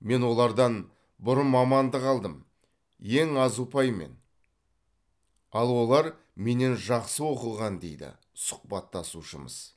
мен олардан бұрын мамандық алдым ең аз ұпаймен ал олар менен жақсы оқыған дейді сұхбаттасушымыз